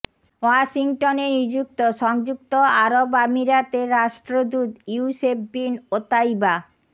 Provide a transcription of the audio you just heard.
ওয়াশিংটনে নিযুক্ত সংযুক্ত আরব আমিরাতের রাষ্ট্রদূত ইউসেফ বিন ওতাইবা